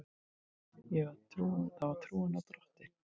Það var trúin á Drottin.